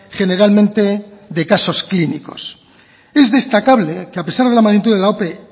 generalmente de casos clínicos es destacable que a pesar de la magnitud de la ope